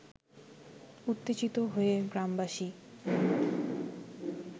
উত্তেজিত হয়ে গ্রামবাসী